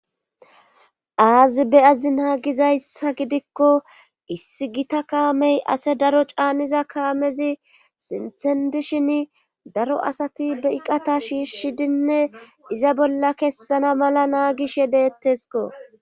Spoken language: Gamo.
aazi beyazi naagizayssa gidikko issi gita kaamey ase daro caaniza kaamezi sinthendishin daro asati be iqata shiishidinne iza bolla kessana mala naagish yedettesko